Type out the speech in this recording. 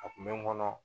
A kun be n kɔnɔ